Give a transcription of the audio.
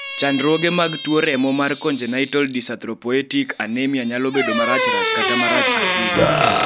chandruoge mag tuo remo mar congenital dyserythropoietic anemia nyalo bedo marachrach kata marach ahinya